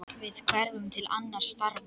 Við hverfum til annarra starfa.